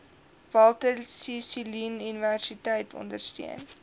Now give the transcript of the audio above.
walter sisuluuniversiteit ondersteun